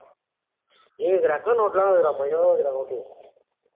ஏய் அங்க record note ல இருக்குடா